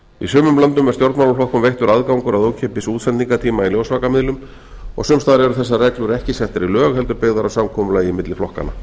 sumum löndum er stjórnmálaflokkum veittur aðgangur að ókeypis útsendingartíma í ljósvakamiðlum og sums staðar eru þessar reglur ekki settar í lög heldur byggðar á samkomulagi milli flokkanna